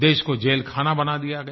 देश को जेलखाना बना दिया गया